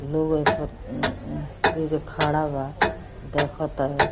लोग एहा पर अम्म ऐजा खड़ा बा दखतावे।